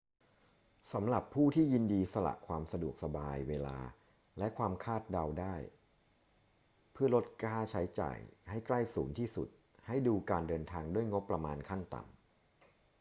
สำหรับผู้ที่ยินดีสละความสะดวกสบาย เวลา และความคาดเดาได้เพื่อลดค่าใช้จ่ายให้ใกล้ศูนย์ที่สุด ให้ดูการเดินทางด้วยงบประมาณขั้นต่ำ